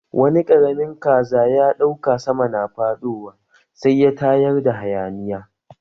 Wani ƙaramin kaza ya ɗauka sama na faɗowa sai ya tayar da hayaniya.